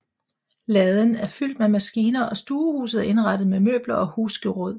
Laden er fyldt med maskiner og stuehuset er indrettet med møbler og husgeråd